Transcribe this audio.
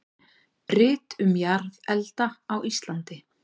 Rit um jarðelda á Íslandi.